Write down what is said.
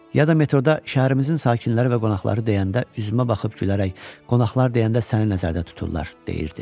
Ya da metroda şəhərimizin sakinləri və qonaqları deyəndə üzümə baxıb gülərək qonaqlar deyəndə səni nəzərdə tuturlar, deyirdi.